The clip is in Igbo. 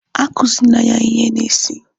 Akuzina ya ihe ahụ n'isi!